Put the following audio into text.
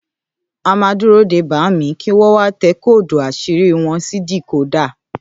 À mà dúró dẹ bàámi, ki wọn wà tẹ kódù àṣírí wọn si díkòda